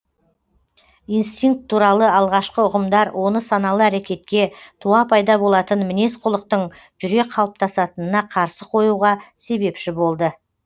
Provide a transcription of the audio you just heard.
инстинкт туралы алғашқы ұғымдар оны саналы әрекетке туа пайда болатын мінез құлықтың жүре қалыптасатынына қарсы қоюға себепші болды